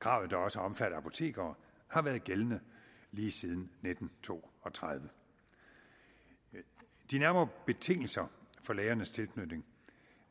kravet der også omfatter apotekere har været gældende lige siden nitten to og tredive de nærmere betingelser for lægernes tilknytning